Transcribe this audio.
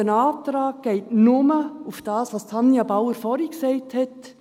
Unser Antrag geht nur auf das ein, was Tanja Bauer vorhin gesagt hat.